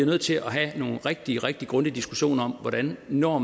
nødt til at have nogle rigtig rigtig grundige diskussioner om hvordan vi når